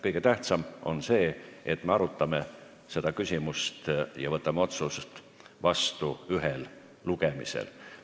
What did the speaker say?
Kõige tähtsam on see, et me arutame seda küsimust ja võtame otsuse vastu ühel lugemisel.